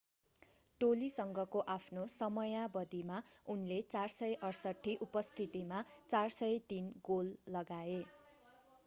टोलीसँगको आफ्नो समयावधिमा उनले 468 उपस्थितिमा 403 गोल लगाए